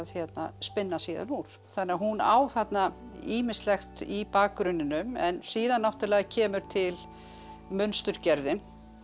spinna síðan úr þannig að hún á þarna ýmislegt í bakgrunninum en síðan náttúrulega kemur til munsturgerðin